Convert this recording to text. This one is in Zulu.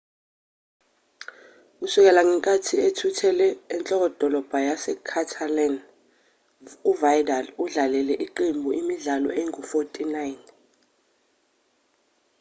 kusukela ngenkathi ethuthele enhlokodolobha yase-catalan uvidal udlalele iqembu imidlalo engu-49